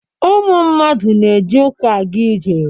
Ụmụ mmadụ na-eji ụkwụ aga ije